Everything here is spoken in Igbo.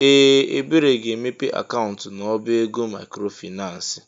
Ee! Ebere ga-emepe akaụntụ n'ọbá ego maịkrofaịnans.